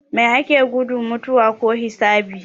Mai ake gudu, mutuwa ko hisabi?